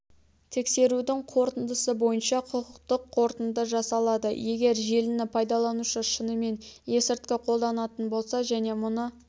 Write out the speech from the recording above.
тексерудің қорытындысы бойынша құқықтық қорытынды жасалады егер желіні пайдаланушы шынымен ескірткі қолданатын болса және мұны